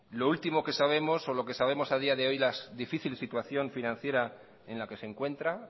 lo último que sabemos o lo que sabemos a día de hoy la difícil situación financiera en la que se encuentra